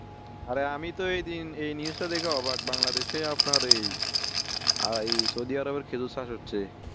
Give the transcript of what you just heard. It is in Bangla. অরে আমি তো এই news টা দেখে অবাক বাংলাদেশে আপনার এই সৌদি আরব এ খেজুর চাষ হচ্ছে